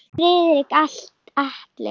Friðrik Atli.